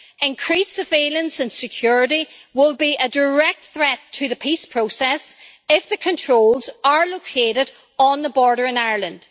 Increased surveillance and security will be a direct threat to the peace process if the controls are located on the border in Ireland.